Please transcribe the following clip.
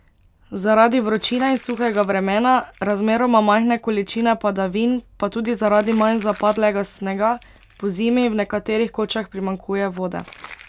Zaradi vročine in suhega vremena, razmeroma majhne količine padavin pa tudi zaradi manj zapadlega snega pozimi v nekaterih kočah primanjkuje vode.